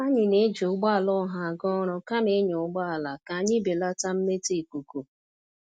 Anyị na-eji ụgbọala ọha aga ọrụ kama ịnya ụgbọala ka anyị belata mmetọ ikuku.